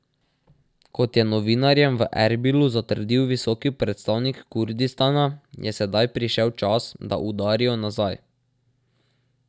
Kot je novinarjem v Erbilu zatrdil visoki predstavnik Kurdistana, je sedaj prišel čas, da udarijo nazaj.